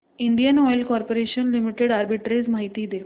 Indian Oil Corporation Limited arbitrage माहिती दे